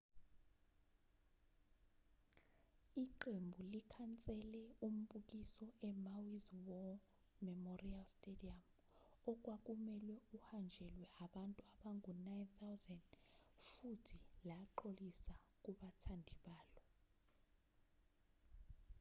iqembu likhansele umbukiso emaui's war memorial stadium okwakumelwe uhanjelwe abantu abangu-9,000 futhi laxolisa kubathandi balo